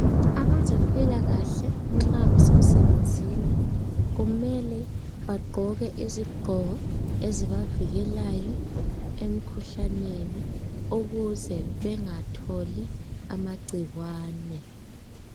Abezempilakahle nxa besemsebenzini kumele bagqoke izigqoko ezibavikelayo emkhuhlaneni ukuze bengatholi amagcikwane.